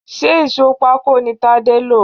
Ṣé ìsò pako ni Tade lọ?